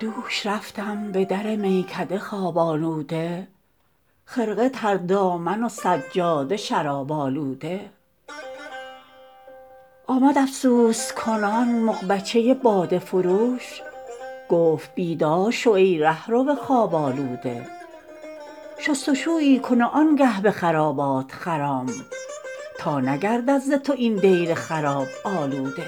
دوش رفتم به در میکده خواب آلوده خرقه تر دامن و سجاده شراب آلوده آمد افسوس کنان مغبچه باده فروش گفت بیدار شو ای رهرو خواب آلوده شست و شویی کن و آن گه به خرابات خرام تا نگردد ز تو این دیر خراب آلوده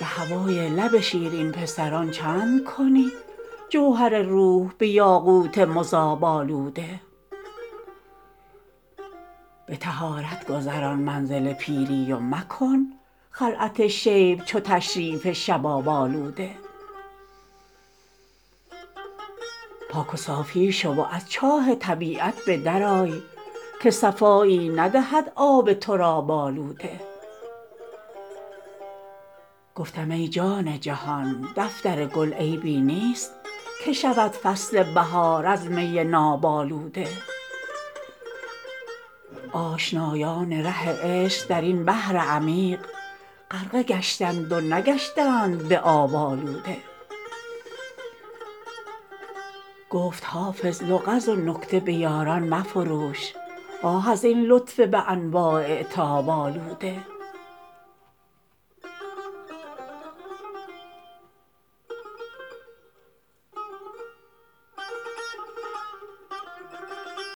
به هوای لب شیرین پسران چند کنی جوهر روح به یاقوت مذاب آلوده به طهارت گذران منزل پیری و مکن خلعت شیب چو تشریف شباب آلوده پاک و صافی شو و از چاه طبیعت به در آی که صفایی ندهد آب تراب آلوده گفتم ای جان جهان دفتر گل عیبی نیست که شود فصل بهار از می ناب آلوده آشنایان ره عشق در این بحر عمیق غرقه گشتند و نگشتند به آب آلوده گفت حافظ لغز و نکته به یاران مفروش آه از این لطف به انواع عتاب آلوده